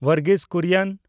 ᱵᱚᱨᱜᱤᱥ ᱠᱩᱨᱤᱭᱚᱱ